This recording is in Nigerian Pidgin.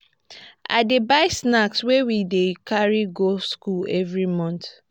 i dey buy snack wey we dey carry go skool every month.